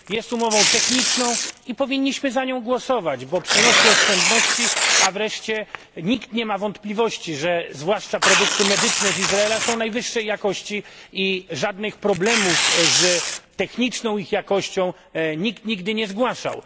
Jest umową techniczną i powinniśmy za nią głosować, bo przynosi ona oszczędności, a nikt nie ma wątpliwości, że zwłaszcza produkty medyczne z Izraela są najwyższej jakości i żadnych problemów z techniczną ich jakością nikt nigdy nie zgłaszał.